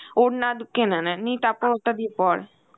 ওড়না দু কিনে নে নিয়ে তারপর ওটা দিয়ে পর